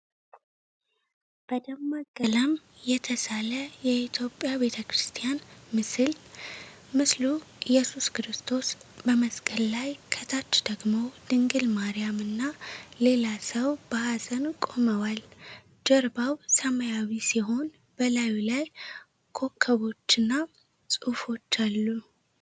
በደማቅ ቀለም የተሣለ የኢትዮጵያ ቤተ ክርስቲያን ምስል። ምስሉ ኢየሱስ ክርስቶስ በመስቀል ላይ፣ ከታች ደግሞ ድንግል ማርያም እና ሌላ ሰው በኀዘን ቆመዋል። ጀርባው ሰማያዊ ሲሆን፣ በላዩ ላይ ኮከቦችና ጽሑፎች አሉ።